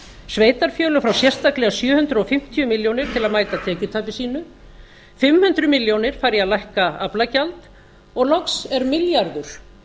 sveitarfélög fá sérstaklega sjö hundruð fimmtíu milljónir til að mæta tekjutapi sínum fimm hundruð milljónir fara í að lækka aflagjald og loks er milljarður